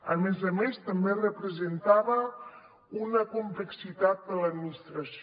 a més a més també representava una complexitat per a l’administració